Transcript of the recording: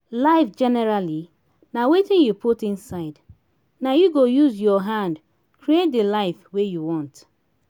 life generally na wetin you put inside na you go use your hand create the life wey you want